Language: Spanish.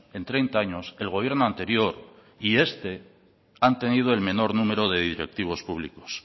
en treinta años el gobierno anterior y este han tenido el menor número de directivos públicos